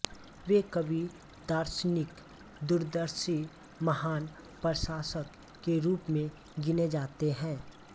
वे कवि दार्शनिक दूरदर्शी महान प्रशासक के रूप में गिने जाते हैं